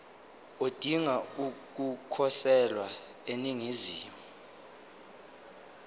odinga ukukhosela eningizimu